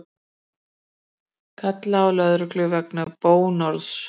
Kallaði á lögreglu vegna bónorðs